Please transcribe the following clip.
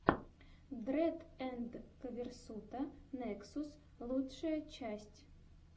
дрэд энд ко версута нексус лучшая часть